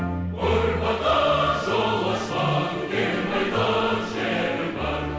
ұрпаққа жол ашқан кең байтақ жерім бар